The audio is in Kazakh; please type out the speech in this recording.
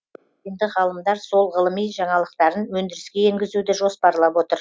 енді ғалымдар сол ғылыми жаңалықтарын өндіріске енгізуді жоспарлап отыр